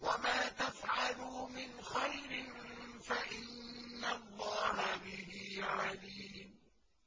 وَمَا تَفْعَلُوا مِنْ خَيْرٍ فَإِنَّ اللَّهَ بِهِ عَلِيمٌ